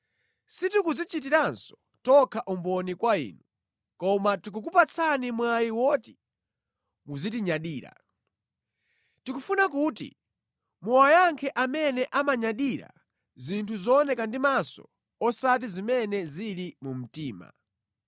Sitikudzichitiranso tokha umboni kwa inu, koma tikukupatsani mwayi oti muzitinyadira. Tikufuna kuti muwayankhe amene amanyadira zinthu zooneka ndi maso osati zimene zili mu mtima.